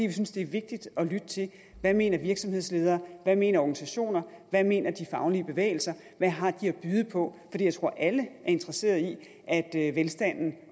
vi synes det er vigtigt at lytte til hvad mener virksomhedsledere hvad mener organisationer hvad mener de faglige bevægelser hvad har de at byde på jeg tror alle er interesseret i at at velstanden